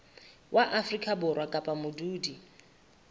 wa afrika borwa kapa modudi